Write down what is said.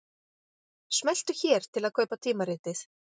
Smelltu hér til að kaupa tímaritið